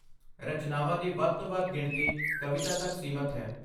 ਰਚਨਾਵਾਂ ਦੀ ਵੱਧ ਤੋਂ ਵੱਧ ਗਿਣਤੀ ਕਵਿਤਾ ਤੱਕ ਸੀਮਤ ਹੈ।